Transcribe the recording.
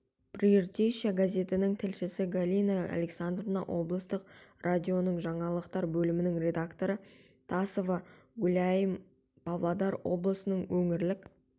прииртышья газетінің тілшісі галина александровна облыстық радионың жаңалықтар бөлімінің редакторы тасова гуляим павлодар облысының өңірлік